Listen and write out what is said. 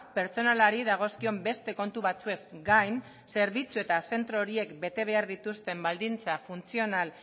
pertsonalari dagozkion beste kontu batzuez gain zerbitzu eta zentro horiek bete behar dituzten baldintza funtzional